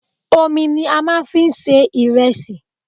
Omi ni a máa ń fi ń se ìrẹsì.